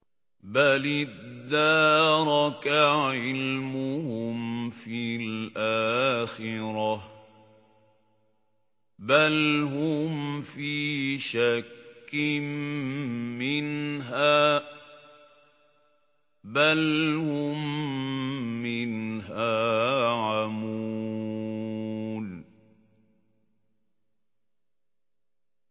بَلِ ادَّارَكَ عِلْمُهُمْ فِي الْآخِرَةِ ۚ بَلْ هُمْ فِي شَكٍّ مِّنْهَا ۖ بَلْ هُم مِّنْهَا عَمُونَ